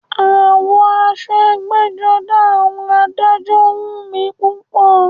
Àwọ̀ aṣọ ẹgbẹ́-jọdá àwọn adájọ́ wù mí púpọ̀.